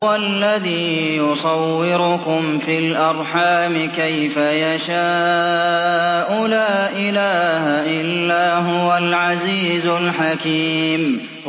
هُوَ الَّذِي يُصَوِّرُكُمْ فِي الْأَرْحَامِ كَيْفَ يَشَاءُ ۚ لَا إِلَٰهَ إِلَّا هُوَ الْعَزِيزُ الْحَكِيمُ